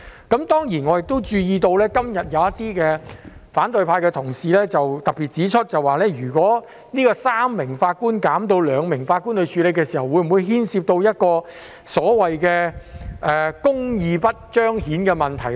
當然，我亦注意到，今天有反對派同事特別指出，如果由3名法官減至兩名法官處理案件，會否帶來所謂公義得不到彰顯的問題呢？